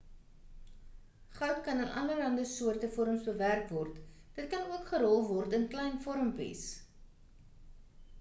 goud kan in allerande soorte vorms bewerk word dit kan ook gerol word in klein vormpies